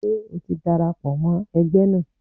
Ṣé o ti darapọ̀ mọ́ ẹgbẹ́ náà?